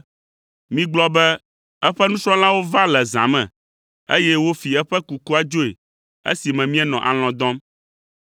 “Migblɔ be, ‘Eƒe nusrɔ̃lawo va le zã me, eye wofi eƒe kukua dzoe esime míenɔ alɔ̃ dɔm.’ ”